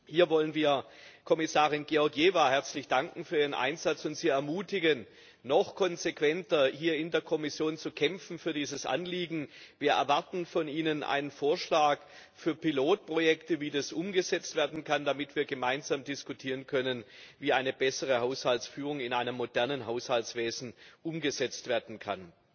Hier wollen wir Kommissarin Georgieva herzlich danken für ihren Einsatz und sie ermutigen, in der Kommission noch konsequenter für dieses Anliegen zu kämpfen. Wir erwarten von Ihnen einen Vorschlag für Pilotprojekte, wie das umgesetzt werden kann, damit wir gemeinsam diskutieren können, wie eine bessere Haushaltsführung in einem modernen Haushaltswesen umgesetzt werden kann.